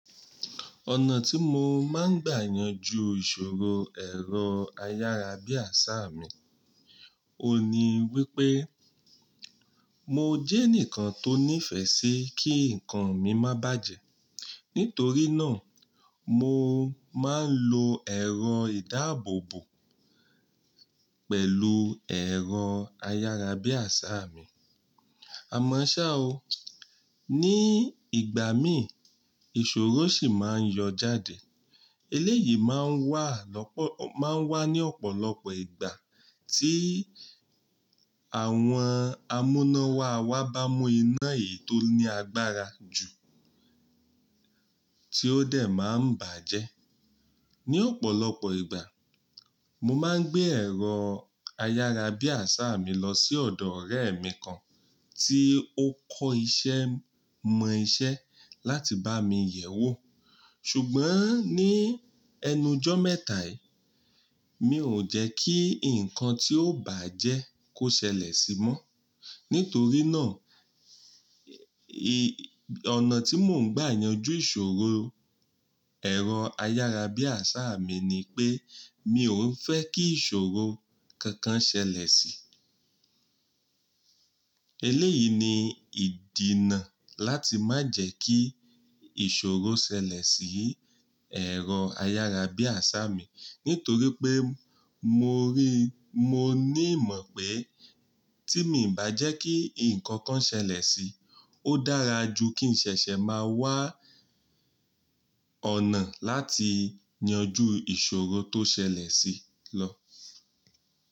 Ọ̀nà tí mo máa ń gbà yanjú ìṣòro èrò ayára bí àṣá mi, òun ní wípé mo jẹ́ ẹnìkan tó nífẹ̀ẹ́ sí kí ǹkan mi má bàjẹ́. Nítorí náà, mo máa ń lo ẹ̀rọ ìdáàbòbò pẹ̀lú ẹ̀rọ ayára bí àṣá mi. Àmọ́ ṣá o, ní ìgbà mí ìṣòro sì máa ń yọ jáde. Eléyìí máa ń wà lọ́po-- máa ń wà ní ọ̀pọ̀lọpọ̀ ìgbà tí àwọn amúnáwá wa bá mú iná èyí tó ní agbára jù tí ó dẹ̀ máa ń baàjẹ́. Ni ọ̀pọ̀lọpọ̀ ìgbà, mo máa ń gbé ẹ̀rọ ayára bí àṣá mi lọ sí ọ̀dọ̀ ọ̀rẹ́ mi kan tí ó kọ́ iṣẹ́ mọ iṣẹ́ láti bá mi yẹ̀wò. Ṣùgbọ́n ní ẹnujọ́ mẹ́ta yìí, mi ò jẹ́ kí ǹkan tí ó bàajẹ́ kó ṣẹlẹ̀ sí mọ́. Nítorí náà, ọ̀nà tí mò ń gbà yanjú ìṣòro ẹ̀rọ ayára bí àṣá mi ni pé, mi ò fẹ́ kí ìṣòro kankan ṣẹlẹ̀ sí i. Eléyìí ni ìdinà láti má jẹ́ kí ìṣòro ṣẹlẹ̀ sí ẹ̀rọ ayára bí àṣá mi. Nítorí pé mo rí-- mo ní ìmọ̀ pé tí mii bàjẹ́ kí ǹkan kan ṣẹlẹ̀ sí i, ó dára ju kí n ṣẹ̀ṣẹ̀ máa wá ọ̀nà láti yanjú ìṣòro tó ṣẹlẹ̀ sí i lọ.